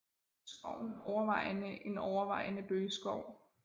Skoven er overvejende en overvejende bøgeskov